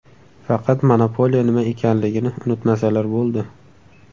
Faqat monopoliya nima ekanligini unutmasalar bo‘ldi.